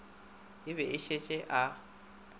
o be a šetše a